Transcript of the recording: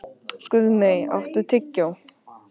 Guðmey, áttu tyggjó?